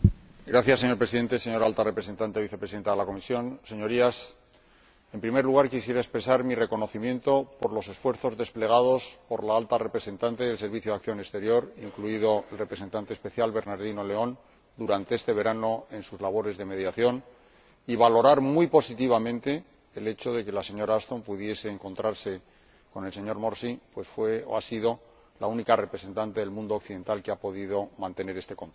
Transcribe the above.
Señor Presidente, señora Alta Representante Vicepresidenta de la Comisión, Señorías, en primer lugar quisiera expresar mi reconocimiento por los esfuerzos desplegados por la Alta Representante y el Servicio Europeo de Acción Exterior, incluido el Representante Especial, Bernardino León, durante este verano, en sus labores de mediación, y valorar muy positivamente el hecho de que la señora Ashton pudiese encontrarse con el señor Morsi, pues ha sido la única representante del mundo occidental que ha podido mantener este contacto.